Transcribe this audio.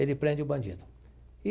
Ele prende o bandido e.